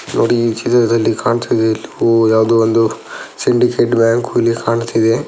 ನೋಡಿ ಈ ಚಿತ್ರದಲ್ಲಿ ಕಾಣ್ತಿದೆ ಇಲ್ಲಿ ಯವುದೊ ಒಂದು ಸಿಂಡಿಕೆಟ ಬ್ಯಾಂಕ ಇಲ್ಲಿ ಕಾಣ್ತಾ ಇದೆ .